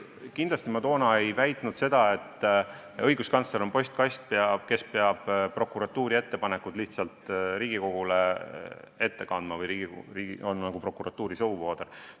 Ei, kindlasti ma toona ei väitnud seda, et õiguskantsler on postkast, kes peab prokuratuuri ettepanekud lihtsalt Riigikogule ette kandma või on nagu prokuratuuri suuvooder.